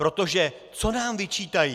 Protože co nám vyčítají?